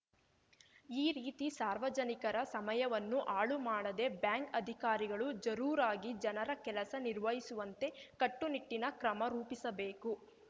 ಈ ರೀತಿ ಸಾರ್ವಜನಿಕರ ಸಮಯವನ್ನು ಹಾಳುಮಾಡದೆ ಬ್ಯಾಂಕ್‌ ಅಧಿಕಾರಿಗಳು ಜರೂರಾಗಿ ಜನರ ಕೆಲಸ ನಿರ್ವಹಿಸವಂತೆ ಕಟ್ಟು ನಿಟ್ಟಿನ ಕ್ರಮ ರೂಪಿಸಬೇಕು